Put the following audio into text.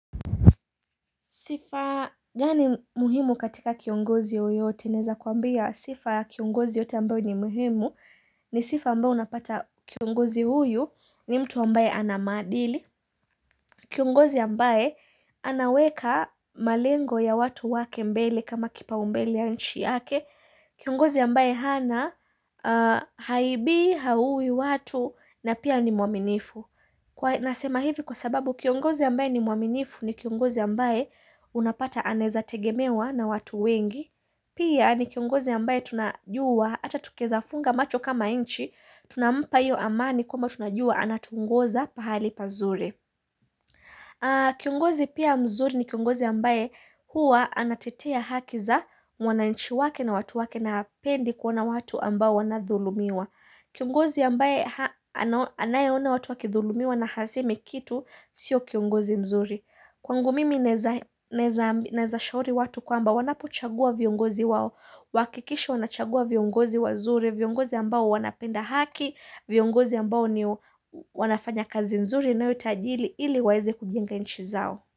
Sifa gani muhimu katika kiongozi yoyote, naeza kuambia sifa kiongozi yote ambayo ni muhimu, ni sifa ambao unapata kiongozi huyu ni mtu ambaye ana maadili, kiongozi ambaye anaweka malengo ya watu wake mbele kama kipaumbele ya nchi yake, kiongozi ambaye hana haibii haui watu na pia ni muaminifu. Kwa nasema hivi kwa sababu kiongozi ambaye ni muaminifu ni kiongozi ambaye unapata anaezategemewa na watu wengi Pia ni kiongozi ambaye tunajua ata tukieza funga macho kama inchi Tunampayo amani kwama tunajua anatuongoza pahali pazuri Kiongozi pia mzuri ni kiongozi ambaye huwa anatetea haki za mwananchi wake na watu wake na hapendi kuona watu ambao wanadhulumiwa Kiongozi ambaye anayeona watu wakidhulumiwa na hasemi kitu sio kiongozi mzuri Kwangu mimi naeza shauri watu kwamba wanapuchagua viongozi wao Wakikishe wanachagua viongozi wazuri, viongozi ambao wanapenda haki viongozi ambao wanafanya kazi nzuri inayotajili ili waeze kujenga nchi zao.